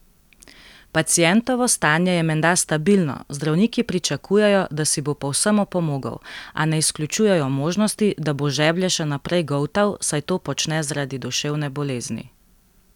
Pacientovo stanje je menda stabilno, zdravniki pričakujejo, da si bo povsem opomogel, a ne izključujejo možnosti, da bo žeblje še naprej goltal, saj to počne zaradi duševne bolezni.